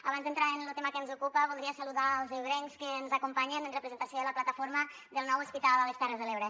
abans d’entrar en lo tema que ens ocupa voldria saludar els ebrencs que ens acompanyen en representació de la plataforma del nou hospital a les terres de l’ebre